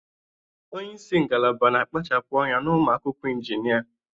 Onye isi ngalaba na-akpachapụ anya na ụmụ akwụkwọ injinia